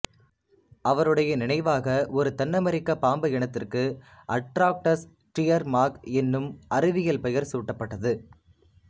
அவருடைய நினைவாக ஒரு தென் அமெரிக்க பாம்பு இனத்திற்கு அட்ராக்டஸ் ஸ்டியர்மார்க் என்னும் அறிவியல் பெயர் சூட்டப்பட்டது